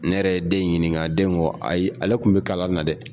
Ne yɛrɛ ye den in ɲininka den kɔ ayi ale kun bɛ kala na dɛ.